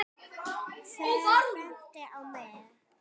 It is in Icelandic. Hver benti á mig?